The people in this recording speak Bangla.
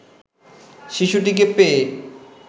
শিশুটিকে পেয়ে